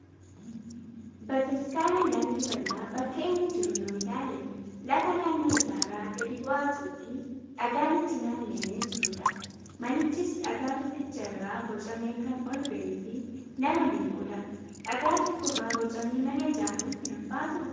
Bataskaana laallibalaa bakka inni jiru yoo ilaalle lafa naannoo isaarraa gadi bu'aa ta'ee fi dhagaan itti naanna'ee jirudha. Manichis dhagaa tokkicha irraa bocamee kan ol bahee fi nama dinqudha. Dhagaa tokkorraa bocanii mana ijaaruun hin ulfaatuu?